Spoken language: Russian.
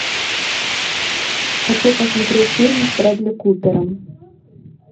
хочу посмотреть фильм с брэдли купером